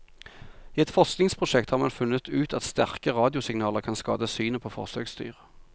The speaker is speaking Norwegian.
I et forskningsprosjekt har man funnet ut at sterke radiosignaler kan skade synet på forsøksdyr.